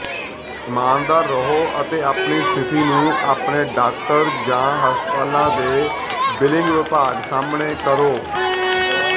ਈਮਾਨਦਾਰ ਰਹੋ ਅਤੇ ਆਪਣੀ ਸਥਿਤੀ ਨੂੰ ਆਪਣੇ ਡਾਕਟਰ ਜਾਂ ਹਸਪਤਾਲ ਦੇ ਬਿਲਿੰਗ ਵਿਭਾਗ ਸਾਹਮਣੇ ਕਰੋ